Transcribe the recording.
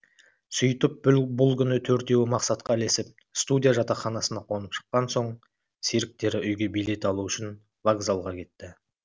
сөйтіп бұл күні төртеуі мақсатқа ілесіп студия жатақханасына қонып шыққан соң серіктері үйге билет алу үшін вокзалға кетті